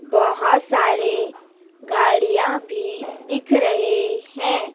बहोत सारे गाड़ियां भी दिख रहे हैं।